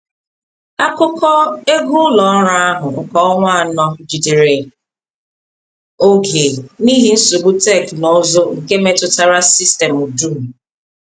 Akụkọ ego ụlọ ọrụ ahụ nke ọnwa anọ jidere oge n’ihi nsogbu teknụzụ nke metụtara sistemụ dum.